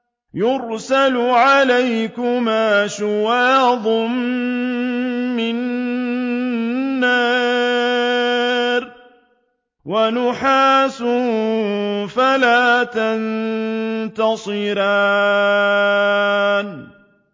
يُرْسَلُ عَلَيْكُمَا شُوَاظٌ مِّن نَّارٍ وَنُحَاسٌ فَلَا تَنتَصِرَانِ